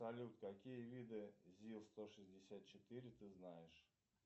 салют какие виды зил сто шестьдесят четыре ты знаешь